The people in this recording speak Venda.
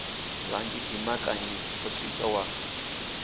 vhanzhi dimbanyika o swi wa